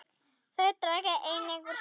Þau draga einnig úr slysum.